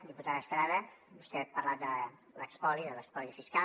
diputada estrada vostè ha parlat de l’espoli de l’espoli fiscal